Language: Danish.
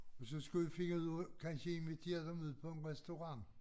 Men så skulle vi finde ud af kansje invitere dem ud på en restaurant